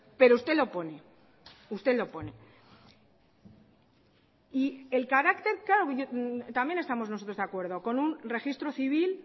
pero usted lo pone usted lo pone y el carácter claro también estamos nosotros de acuerdo con un registro civil